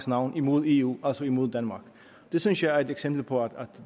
navn imod eu altså imod danmark det synes jeg er et eksempel på at